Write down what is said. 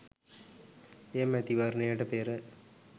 එම මැතිවරණයට පෙර